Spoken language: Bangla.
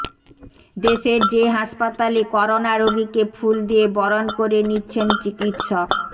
দেশের যে হাসপাতালে করোনা রোগীকে ফুল দিয়ে বরণ করে নিচ্ছেন চিকিৎসক